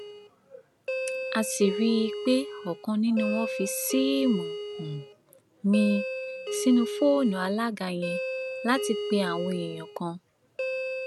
um a sì rí i pé ọkan nínú wọn fi síìmù um míín sínú fóònù alága yẹn láti pe àwọn èèyàn kan